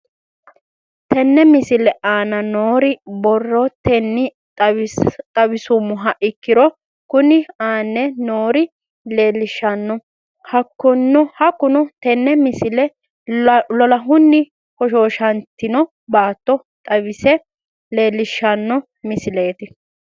Tenne misile aana noore borrotenni xawisummoha ikirro kunni aane noore leelishano. Hakunno tinni misile lolahunni hoshshooshantinno baato xawisse leelishshano misileeti.